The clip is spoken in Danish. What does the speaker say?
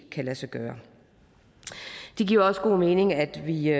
kan lade sig gøre det giver også god mening at vi